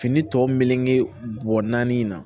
Fini tɔ melege bɔ naani na